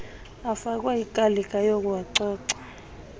afakwe ikalika yokuwacoca